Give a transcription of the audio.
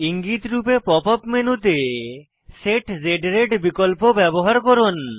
ইঙ্গিত রূপে pop up মেনুতে সেট Z রাতে বিকল্প ব্যবহার করুন